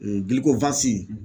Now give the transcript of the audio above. Ee gilikowasi